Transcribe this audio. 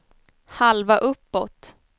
halva uppåt